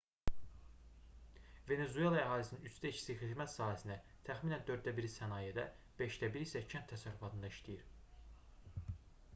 venesuela əhalisinin üçdə ikisi xidmət sahəsində təxminən dörddə biri sənayedə beşdə biri isə kənd təsərrüfatında işləyir